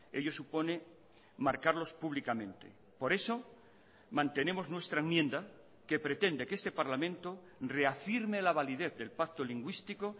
ello supone marcarlos públicamente por eso mantenemos nuestra enmienda que pretende que este parlamento reafirme la validez del pacto lingüístico